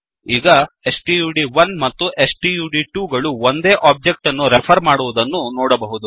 ಈಗ ಸ್ಟಡ್1 ಮತ್ತು ಸ್ಟಡ್2 ಗಳು ಒಂದೇ ಒಬ್ಜೆಕ್ಟ್ ಅನ್ನು ರೆಫರ್ ಮಾಡುವುದನ್ನು ನೋಡಬಹುದು